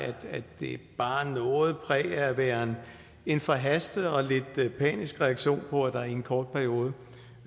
det bar noget præg af at være en forhastet og lidt panisk reaktion på at der i en kort periode